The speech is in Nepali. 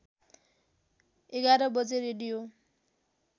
११ बजे रेडियो